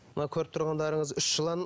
мына көріп тұрғандарыңыз үш жылан